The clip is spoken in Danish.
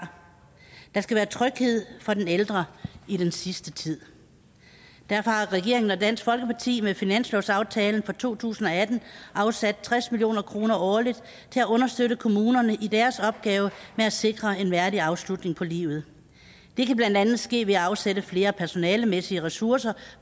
der skal være tryghed for den ældre i den sidste tid derfor har regeringen og dansk folkeparti med finanslovsaftalen for to tusind og atten afsat tres million kroner årligt til at understøtte kommunerne i deres opgave med at sikre en værdig afslutning på livet det kan blandt andet ske ved at afsætte flere personalemæssige ressourcer